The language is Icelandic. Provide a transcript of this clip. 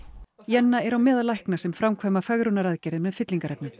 Jenna er á meðal lækna sem framkvæma fegrunaraðgerðir með